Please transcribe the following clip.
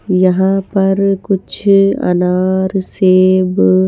यहां पर कुछ अनार सेव--